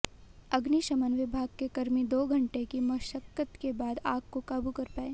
अग्निशमन विभाग के कर्मी दो घंटे की मशक्कत के बाद आग को काबू कर पाए